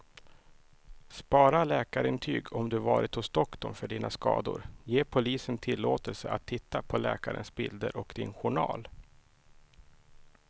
Spara läkarintyg om du varit hos doktorn för dina skador, ge polisen tillåtelse att titta på läkarens bilder och din journal.